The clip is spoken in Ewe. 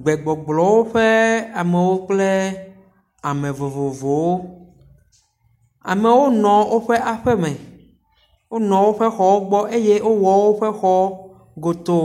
Gbegblɔwo ƒe amewo kple ame vovovowo. Amewo nɔ woƒe aƒe me wonɔ woƒe xɔwo gbɔ eye wowɔ woƒe xɔwo godo.